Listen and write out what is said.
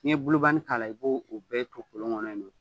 N'i ye k'a la , i b'o bɛɛ to kolon kɔnɔ yen.